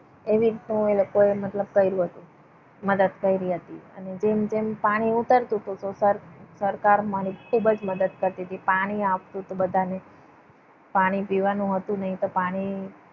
એવી રીતનું એ લોકોએ મતલબ થયેલું હતું. મદદ કરી હતી અને જેમ જેમ પાણી ઉતરતું હતું. તો સરકાર અમારી ખૂબ જ મદદ કરતી હતી. પાણી આપતું તો બધાને પાણી પીવાનું હતું નહીં તો પાણી